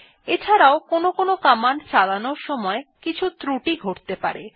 এছাড়াও কোনো কমান্ড চানালোর সময় কিছু ত্রুটি ঘটতে পারে